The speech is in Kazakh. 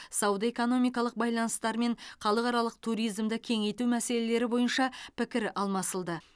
сауда экономикалық байланыстар мен халықаралық туризмді кеңейту мәселелері бойынша пікір алмасылды